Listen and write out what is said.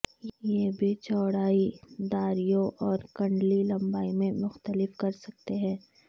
یہ بھی چوڑائی داریوں اور کنڈلی لمبائی میں مختلف کر سکتے ہیں